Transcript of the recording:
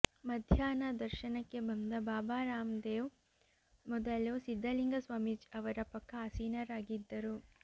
ಮಧ್ಯಾಹ್ನ ದರ್ಶನಕ್ಕೆ ಬಂದ ಬಾಬಾ ರಾಮದೇವ್ ಮೊದಲು ಸಿದ್ಧಲಿಂಗ ಸ್ವಾಮೀಜಿ ಅವರ ಪಕ್ಕ ಆಸೀನರಾಗಿದ್ದರು